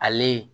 Ale